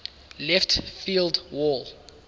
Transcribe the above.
left field wall